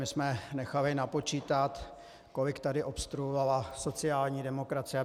My jsme nechali napočítat, kolik tady obstruovala sociální demokracie.